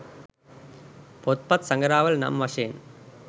පොත්පත් සඟරාවල නම් වශයෙන්